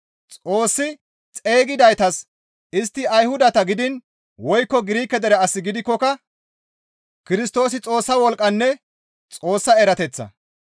Xoossi xeygidaytas istti Ayhudata gidiin woykko Girike dere as gidikkoka Kirstoosi Xoossa wolqqanne Xoossa erateththa.